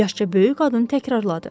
Yaşca böyük qadın təkrarladı.